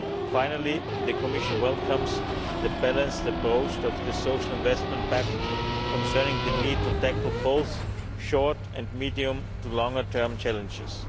Finally, the Commission welcomes the balanced approach of the Social Investment Pact concerning the need to tackle both short and medium to longer term challenges.